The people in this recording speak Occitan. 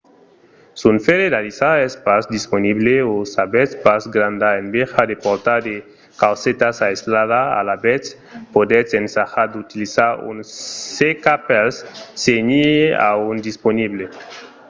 s'un fèrre d'alisar es pas disponible o s'avètz pas granda enveja de portar de caucetas alisadas alavetz podetz ensajar d'utilizar un seca-pels se n'i a un disponible